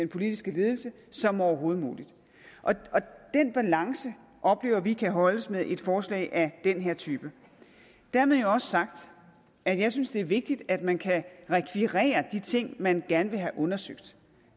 politiske ledelse som overhovedet muligt og den balance oplever vi kan holdes med et forslag af den her type dermed jo også sagt at jeg synes det er vigtigt at man kan rekvirere de ting man gerne vil have undersøgt